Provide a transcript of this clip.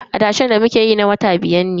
Adashen da muke yi na wata biyar ne.